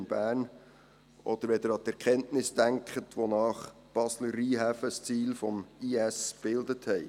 Denken Sie an die Erkenntnisse, wonach die Basler Rheinhäfen ein Ziel des «IS» bildeten.